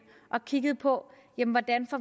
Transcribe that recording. og kiggede på hvordan